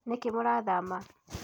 Nĩkĩ mũrathama